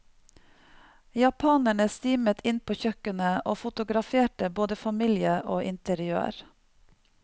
Japanerne stimet inn på kjøkkenet og fotograferte både familie og interiør.